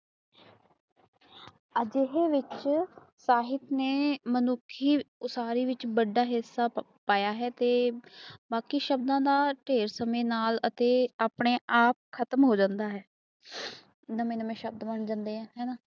ਅਜੇਹੀ ਵਿਖੇਸਾਹਿਤ ਨੇ ਮਾਨੁਸ਼ਿਆ ਅੰਸਾਰੀ ਵਿੱਚ ਬਡਾ ਹਿਸਾ ਪਾਇਆ ਹੈ ਅੱਤੇ ਬਾਕੀ ਸ਼ਬਦ ਦਾ ਢੇਰ ਸਮੇਂ ਨਾਲ ਅੱਤੇ ਆਪਣੇ ਆਪ ਖ਼ਤਮ ਹੋ ਜਾਂਦਾ ਹੈ ਨਵੇਂ ਨਵੇਂ ਸ਼ਬਦ ਬਣ ਜਾਂਦੇ ਹਾਂ